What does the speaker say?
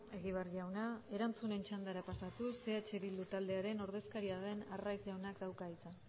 egibar jauna erantzunen txandara pasatuz eh bildu taldearen ordezkaria den arraiz jaunak dauka hitza